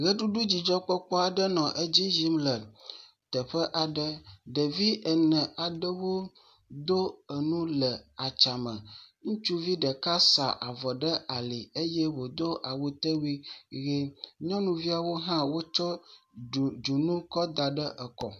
Ʋeɖuɖudzidzɔkpɔkpoɔ aɖe nɔ edzi yim le teƒe aɖe, ɖevi ene aɖewo do enu le atsia me, ŋutsuvi ɖeka sa avɔ ɖe ali eye wodo awutewui ʋi, nyɔnuviawo hã wotsɔ dzo kɔ da ɖe ekɔ.